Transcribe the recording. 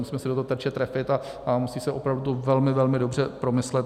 Musíme se do toho terče trefit a musí se opravdu velmi, velmi dobře promyslet.